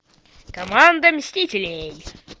команда мстителей